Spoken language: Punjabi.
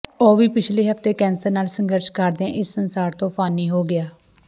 ਉਹ ਵੀ ਪਿਛਲੇ ਹਫ਼ਤੇ ਕੈਂਸਰ ਨਾਲ ਸੰਘਰਸ਼ ਕਰਦਿਆਂ ਇਸ ਸੰਸਾਰ ਤੋਂ ਫਾਨੀ ਹੋ ਗਿਆ